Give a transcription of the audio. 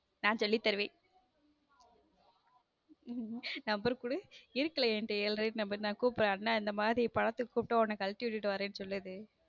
நான் சொல்லித் தருவேன number குடு இருக்குது என்கிட்ட ஏற்கனவே number கூப்பிடுவேன் அண்ணா இந்த மாதிரி படத்துக்கு கூப்பிட்டால் உன்னை கழட்டி விட்டு வரேன்னு சொல்லுது